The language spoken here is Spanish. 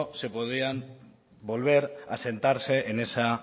se podían volver a sentarse en esa